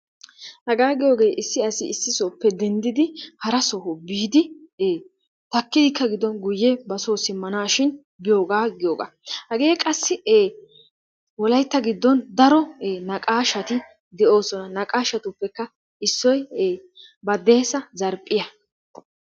Hagaa giyoogee issi asi issisoppe dendid haraso soho biidi e taakidikka gido qassi guye basoo simanashiin giyoogaa giyooga. Hagee qassi wolaitta gido daro e naqashatti de'oosona. Naqaashatuppe issoy baddeesa zarphphiya.